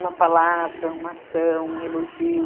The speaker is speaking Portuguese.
Uma palavra, uma ação, um elogio.